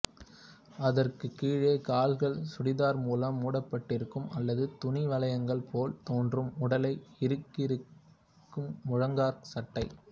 அதற்குக் கீழே கால்கள் சுடிதார் மூலம் மூடப்பட்டிருக்கும் அல்லது துணி வளையங்கள் போல் தோன்றும் உடலை இறுக்கியிருக்கும் முழங்காற் சட்டை